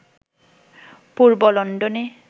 পূর্ব লন্ডনে